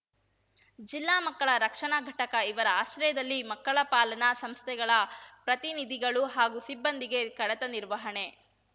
ಜಿಲ್ಲಾ ಮಕ್ಕಳ ರಕ್ಷಣಾ ಘಟಕ ಇವರ ಆಶ್ರಯದಲ್ಲಿ ಮಕ್ಕಳ ಪಾಲನಾ ಸಂಸ್ಥೆಗಳ ಪ್ರತಿನಿಧಿಗಳು ಹಾಗೂ ಸಿಬ್ಬಂದಿಗೆ ಕಡತ ನಿರ್ವಹಣೆ